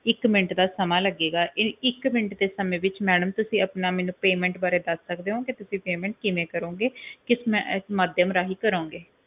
ਇੱਕ ਮਿੰਟ ਦਾ ਸਮਾਂ ਲੱਗੇਗਾ ਇੱਕ ਮਿੰਟ ਦੇ ਸਮੇ ਵਿਚ ਮੈਡਮ ਤੁਸੀਂ ਮੈਨੂੰ ਦੱਸ ਸਕਦੇ ਊ ਬਾਰੇ ਕਿ ਤੁਸੀਂ payment ਕਿਵੇਂ ਕਰੋਂਗੇ ਕਿਸ ਮਾਧਿਅਮ ਰਾਹੀਂ ਕਰੋਂਗੇ